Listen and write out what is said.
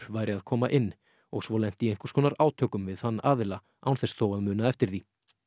væri að koma inn og svo lent í einhvers konar átökum við þann aðila án þess þó að muna eftir því